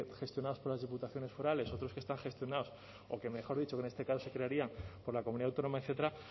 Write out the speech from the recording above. gestionados por las diputaciones forales otros que están gestionados o que mejor dicho que en este caso se crearían por la comunidad autónoma etcétera